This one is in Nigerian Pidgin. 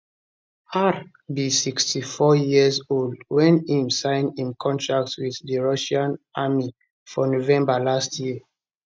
r be 62 years old wen e sign im contract with di russian army for november last year